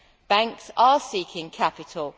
banks are seeking capital